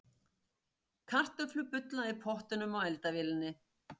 Kartöflur bulla í pottinum á eldavélinni.